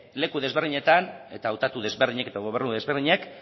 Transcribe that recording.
leku desberdinetan eta hautatu desberdinek eta gobernu desberdinek